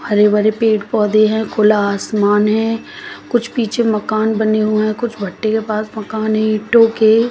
हरे भरे पेड़ पौधे हैं खुला आसमान है कुछ पीछे मकान बने हुए हैं कुछ भट्टे के पास मकान हैं ईंटों के।